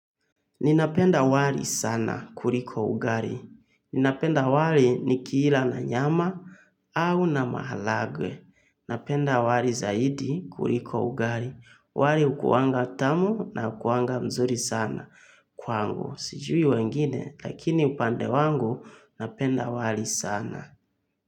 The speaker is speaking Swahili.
Ninapenda wali sana kuliko ugali. Ninapenda wali nikila na nyama au na maharagwe. Napenda wali zaidi kuliko ugali. Wali hukuwanga tamu na hukuwanga mzuri sana kwangu. Sijui wengine lakini upande wangu napenda wali sana.